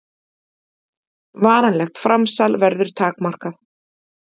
Varanlegt framsal verður takmarkað